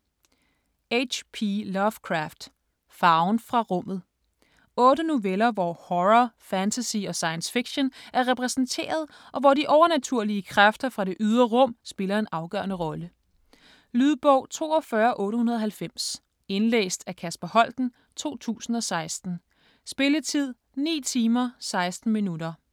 Lovecraft, H. P.: Farven fra rummet 8 noveller hvor horror, fantasy og science fiction er repræsenteret, og hvor de overnaturlige kræfter fra det ydre rum spiller en afgørende rolle. Lydbog 42890 Indlæst af Kasper Holten, 2016. Spilletid: 9 timer, 16 minutter.